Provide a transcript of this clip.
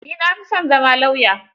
Ni na fi son zama lauya.